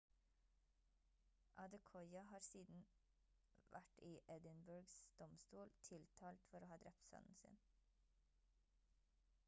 adekoya har siden vært i edinburghs domstol tiltalt for å ha drept sønnen sin